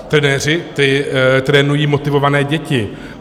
Trenéři, ti trénují motivované děti.